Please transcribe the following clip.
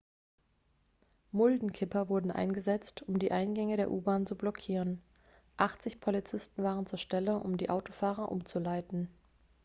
muldenkipper wurden eingesetzt um die eingänge der u-bahn zu blockieren 80 polizisten waren zur stelle um die autofahrer umzuleiten